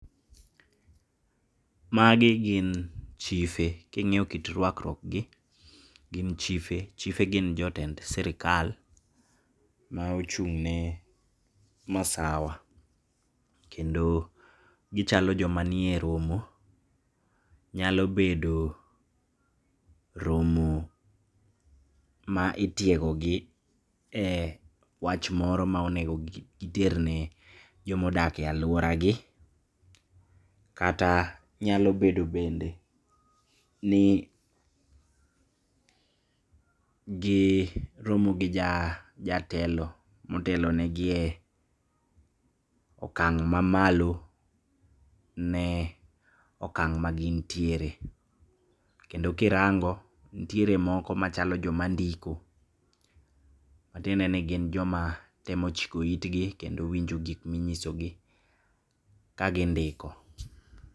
Magi gin chife king'iyo kit ruakruokgi gin chife. Chife gin jotend sirikal maochung'ne masawa kendo gichalo joma nie romo. Nyalo bedo romo maitiegogi e wach moro maonego giterne joma odake aluoragi, kata nyalo bedo bende ni giromo gi jatelo motelo negi e okang' mamalo ne okang' magin tiere, kendo kirango ntiere moko machalo joma ndiko matiendeni gin joma temo chiko itgi kendo winjo gikma inyisogi kagindiko.